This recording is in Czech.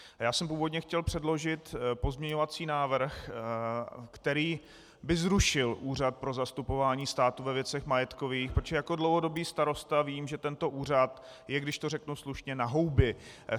Já jsem původně chtěl předložit pozměňovací návrh, který by zrušil Úřad pro zastupování státu ve věcech majetkových, protože jako dlouhodobý starosta vím, že tento úřad je, když to řeknu slušně, na houby.